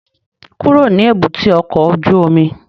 Kúrò ní èbúté ọkọ̀ ojú omi!